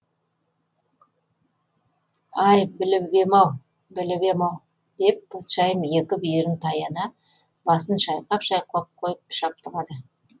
ай біліп ем ау біліп ем ау деп патшайым екі бүйірін таяна басын шайқап шайқап қойып шаптығады